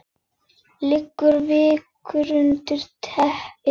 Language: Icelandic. Liggur veikur undir teppi.